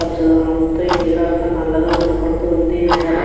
పచ్చదనం తో ఈ నీరు అంతా నల్లగా కనబడుతూ వుంది. ఈ నేల --